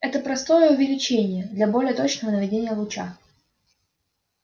это простое увеличение для более точного наведения луча